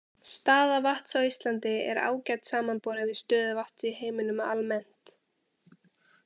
Staða vatns á Íslandi er ágæt samanborið við stöðu vatns í heiminum almennt.